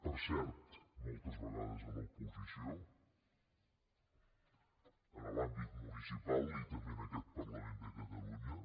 per cert moltes vegades a l’oposició en l’àmbit municipal i també en aquest parlament de catalunya